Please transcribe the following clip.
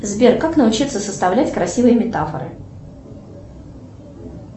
сбер как научиться составлять красивые метафоры